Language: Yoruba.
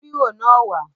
Mú bírò náà wà á!